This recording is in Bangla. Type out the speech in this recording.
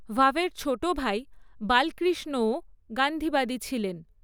ভাভের ছোট ভাই বালকৃষ্ণও গান্ধীবাদী ছিলেন।